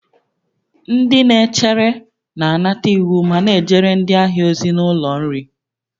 Ndị na-echere na-anata iwu ma na-ejere ndị ahịa ozi n'ụlọ nri